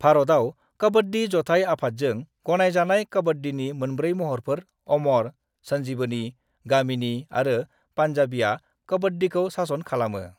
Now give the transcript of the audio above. भारतआव कबड्डी जथाइ आफादजों गनायजानाय कबड्डीनि मोनब्रै महरफोर अमर, संजीवनी, गामिनी आरो पन्जाबीआ कबड्डीखौ सासन खालामो।